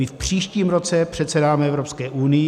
My v příštím roce předsedáme Evropské unii.